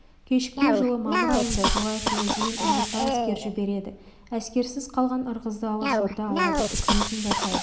кешікпей жылы мамыр айында желаевтың ізімен ырғызға әскер жібереді әскерсіз қалған ырғызды алашорда алады үкіметін жасайды